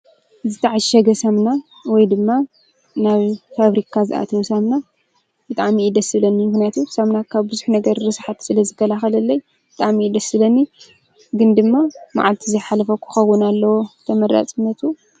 ዝተዓ ሸገ ሰምና ወይ ድማ ናብ ፋብሪካ ዝኣተወ ሳምና ብጥኣሚ ኢደሥለኒ ይግነቱ ሰምናካብ ብዙኅ ነገር ርስሓት ስለ ዝከልኸለለይ ብጥኣሚ እደስለኒ ግን ድማ መዓልቲ እዘይሓለፈ ዂኸውን ኣለዎ ተመረጽነቱ